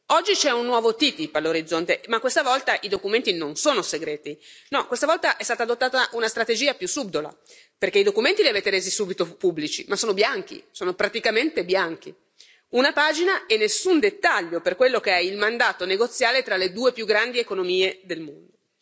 Oggi c'è un nuovo TTIP all'orizzonte ma questa volta i documenti non sono segreti. No, questa volta è stata adottata una strategia più subdola, perché i documenti li avete resi subito pubblici ma sono bianchi, sono praticamente bianchi una pagina e nessun dettaglio per quello che è il mandato negoziale tra le due più grandi economie del mondo.